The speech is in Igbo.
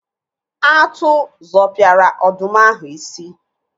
Atụ zọpiara ọdụm ahụ isi.